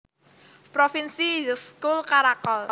Provinsi Yssyk Kul Karakol